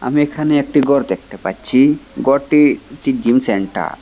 আমি এখানে একটি ঘর দেখতে পাচ্ছি ঘরটি ঠিক জিম সেন্টার ।